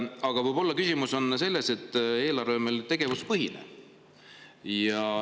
Aga võib-olla küsimus on selles, et eelarve on meil tegevuspõhine.